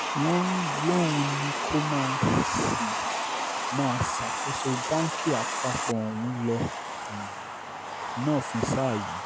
wọ́n um lóun ní kó máà sì máa ṣàkóso báǹkì àpapọ̀ ọ̀hún lọ um náà fún sáà yìí